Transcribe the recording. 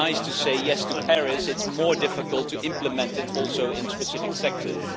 It is nice to say yes to Paris, it is more difficult to implement it in specific sectors.